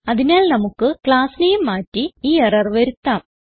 അതിനാൽ നമുക്ക് class name മാറ്റി ഈ എറർ വരുത്താം